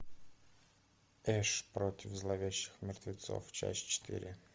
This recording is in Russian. эш против зловещих мертвецов часть четыре